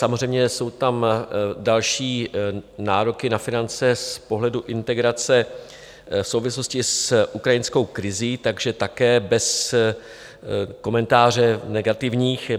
Samozřejmě, jsou tam další nároky na finance z pohledu integrace v souvislosti s ukrajinskou krizí, takže také bez komentářů negativních.